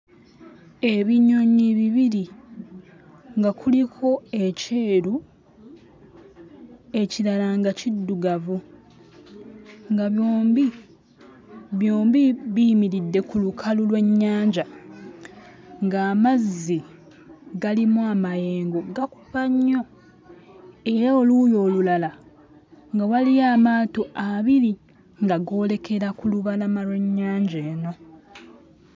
Ebinyonyi bibiri nga kuliko ekyeru, ekirala nga kiddugavu, nga byombi byombi biyimiridde ku lukalu lw'ennyanja, ng'amazzi galimu amayengo gakuba nnyo era 'oluuyi olulala nga waliyo amaato abiri nga goolekera ku lubalama lw'ennyanja eno.